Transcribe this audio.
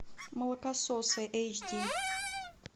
молокососы эйч ди